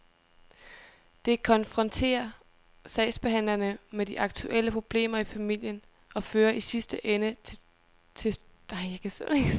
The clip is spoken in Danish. Det konfronterer sagsbehandlerne med de aktuelle problemer i familien og fører i sidste ende til tvangsfjernelse, siger han.